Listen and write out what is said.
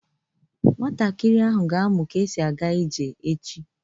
Nwatakịrị ahụ ga-amụ ka esi aga ije echi.